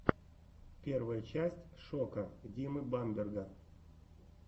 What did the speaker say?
первая часть шока димы бамберга